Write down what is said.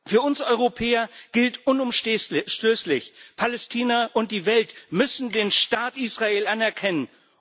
Für uns Europäer gilt unumstößlich Palästina und die Welt müssen den Staat Israel anerkennen.